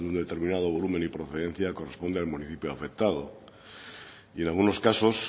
de un determinado volumen y procedencia corresponde al municipio afectado y en algunos casos